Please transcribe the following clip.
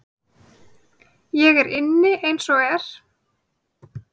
Ég er inni eins og er.